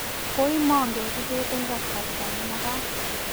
koimongei kibet eng kasarta ne magat